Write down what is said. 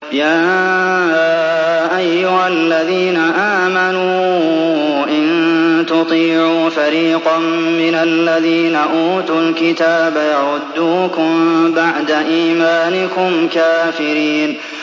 يَا أَيُّهَا الَّذِينَ آمَنُوا إِن تُطِيعُوا فَرِيقًا مِّنَ الَّذِينَ أُوتُوا الْكِتَابَ يَرُدُّوكُم بَعْدَ إِيمَانِكُمْ كَافِرِينَ